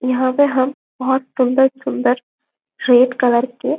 यहाँ पे हम बहोत सुंदर सुंदर रेड कलर के--